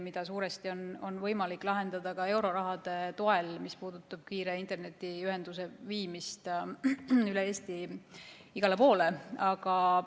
Seda on suuresti võimalik lahendada euroraha toel, mis puudutab kiire internetiühenduse viimist igale poole üle Eesti.